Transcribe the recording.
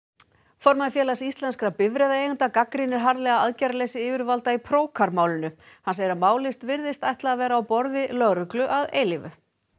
formaður Félags íslenskra bifreiðaeigenda gagnrýnir harðlega aðgerðaleysi yfirvalda í Procar málinu hann segir að málið virðist ætla að vera á borði lögreglu að eilífu